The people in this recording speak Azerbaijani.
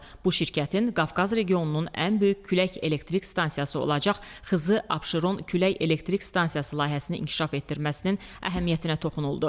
Bu şirkətin Qafqaz regionunun ən böyük külək elektrik stansiyası olacaq Xızı, Abşeron külək elektrik stansiyası layihəsinin inkişaf etdirməsinin əhəmiyyətinə toxunuldu.